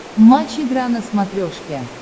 матч игра на смотрешке